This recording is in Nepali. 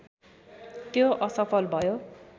त्यो असफल भयो